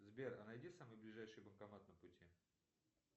сбер а найди самый ближайший банкомат на пути